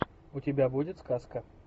у тебя будет сказка